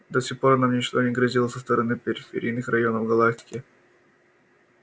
до сих пор нам ничто не грозило со стороны периферийных районов галактики